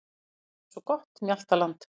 Þið hafið svo gott mjaltaland.